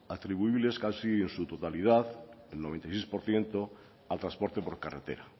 atribuibles casi en su totalidad el noventa y seis por ciento al transporte por carretera